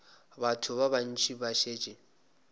batho ba bantši ba šetše